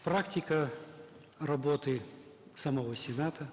практика работы самого сената